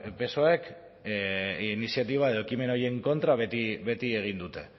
psoek iniziatiba edo ekimen horien kontra beti egin dute